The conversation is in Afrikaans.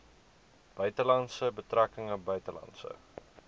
buitelandse betrekkinge buitelandse